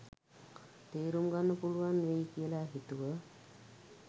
තේරුම්ගන්න පුළුවන් වෙයි කියල හිතුව‍.